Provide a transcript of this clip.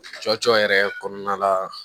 Cɔcɔ yɛrɛ kɔnɔna la